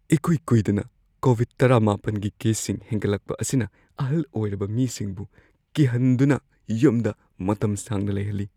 ꯏꯀꯨꯏ ꯀꯨꯏꯗꯅ ꯀꯣꯕꯤꯗ-꯱꯹ꯒꯤ ꯀꯦꯁꯁꯤꯡ ꯍꯦꯟꯒꯠꯂꯛꯄ ꯑꯁꯤꯅ ꯑꯍꯜ ꯑꯣꯏꯔꯕ ꯃꯤꯁꯤꯡꯕꯨ ꯀꯤꯍꯟꯗꯨꯅ ꯌꯨꯝꯗ ꯃꯇꯝ ꯁꯥꯡꯅ ꯂꯩꯍꯜꯂꯤ꯫